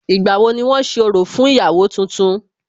Ìgbà wo ni wón ṣe orò fún ìyàwó tuntun?